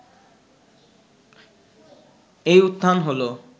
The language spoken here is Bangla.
এই উত্থান হলো